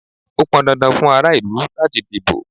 Ó pọn dandan fún ara ìlú láti díbó.